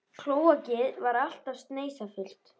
Klóakið var alltaf sneisafullt.